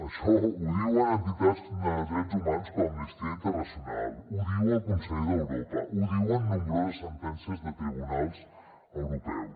això ho diuen entitats de drets humans com amnistia internacional ho diu el consell d’europa ho diuen nombroses sentències de tribunals europeus